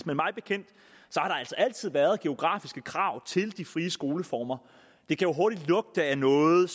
altid har været geografiske krav til de frie skoleformer det kan jo hurtigt at lugte af noget